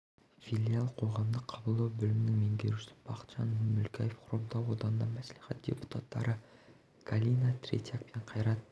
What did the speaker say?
филиал қоғамдық қабылдау бөлімінің меңгерушісі бақытжан мүлкаев хромтау аудандық мәслихат депутаттары галина третьяк пен қайрат